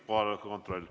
Kohaloleku kontroll.